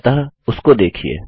अतः उसको देखिये